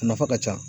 A nafa ka ca